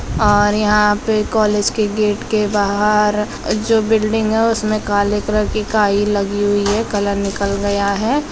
और यहां पे कॉलेज के गेट के बाहार जो बिल्डिंग है उसमें काले कलर की काई लगी हुई है कलर निकल गया है।